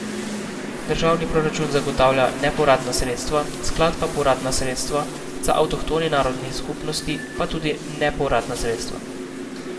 Državni proračun zagotavlja nepovratna sredstva, sklad pa povratna sredstva, za avtohtoni narodni skupnosti pa tudi nepovratna sredstva.